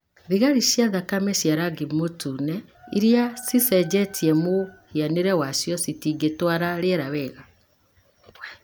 Thigari cia thakame cia rangi mũtune iria cicenjetie mũhianĩre wacio citingĩtwara rĩera wega,